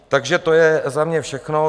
Takže to je za mě všechno.